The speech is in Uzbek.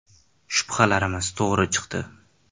Shubhalarimiz to‘g‘ri chiqdi.